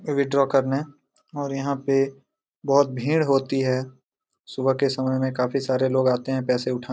withdraw करने और यहाँ पे बहुत भीड़ होती है सुबह के समय में काफी सारे लोग आते है पैसे उठाने--